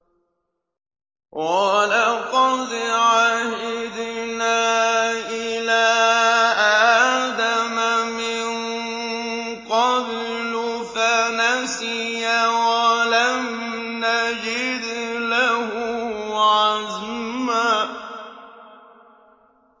وَلَقَدْ عَهِدْنَا إِلَىٰ آدَمَ مِن قَبْلُ فَنَسِيَ وَلَمْ نَجِدْ لَهُ عَزْمًا